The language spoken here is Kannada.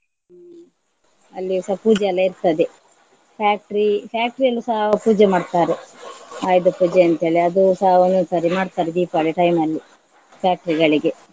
ಹ್ಮ್ ಅಲ್ಲಿಸ ಪೂಜೆ ಎಲ್ಲ ಇರ್ತದೆ. factory factory ಅಲ್ಲಿಸ ಅವರು ಪೂಜೆ ಮಾಡ್ತಾರೆ ಆಯುಧ ಪೂಜೆ ಅಂತೇಳಿ ಅದುಸ ಒಂದೊಂದು ಸರಿ ಮಾಡ್ತಾರೆ ದೀಪಾವಳಿ time ಅಲ್ಲಿ factory ಗಳಿಗೆ.